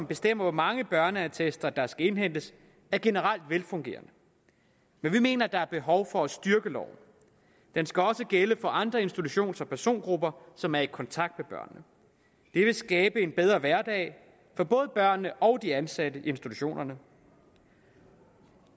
bestemmer hvor mange børneattester der skal indhentes er generelt velfungerende men vi mener at der er behov for at styrke loven den skal også gælde for andre institutions og persongrupper som er i kontakt med børnene det vil skabe en bedre hverdag for både børnene og de ansatte i institutionerne